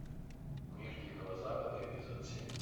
мир дикого запада эпизод семь